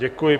Děkuji.